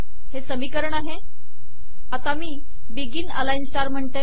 हे समीकरण आहे आता मी बिगिन अलाइन स्टार म्हणते